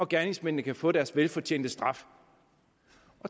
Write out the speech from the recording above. gerningsmændene kan få deres velfortjente straf